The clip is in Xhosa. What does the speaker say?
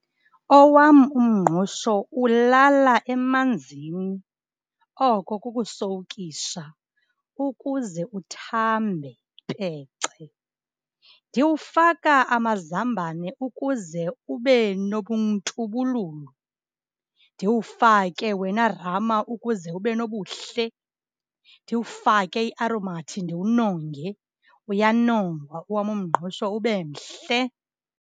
Owam umngqusho ulala emanzini. Oko kukusowukisha ukuze uthambe pece. Ndiwufaka amazambane ukuze ube nobuntubululu. Ndiwufake wena rama ukuze ube nobuhle. Ndiwufake iaromathi ndiwunonge. Uyanongwa owam umngqusho ube mhle.